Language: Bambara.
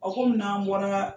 A ko munna an bɔra